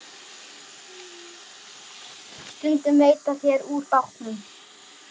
Stundum veiddu þeir úr bátnum.